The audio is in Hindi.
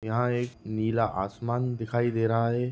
यहाँ एक नीला आसमान दिखाई दे रहा है।